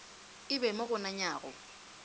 e be mo go nanyago